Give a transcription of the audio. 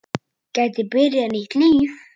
Geti byrjað nýtt líf.